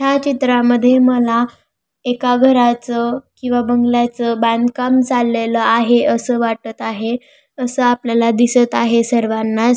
ह्या चित्रामध्ये मला एका घराचं किवा बंगल्याचं बांधकाम चाललेल आहे असं वाटत आहे असं आपल्याला दिसत आहे सर्वानाच.